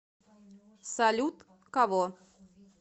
салют кого